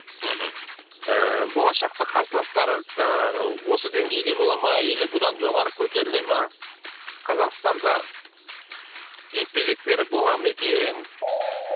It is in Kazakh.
мхм ііі болашақта қарсыластары жаңағы осы деңгейде бола ма или бұдан жоғары көтеріле ма қазақстанда жекпе жектері бола ма екен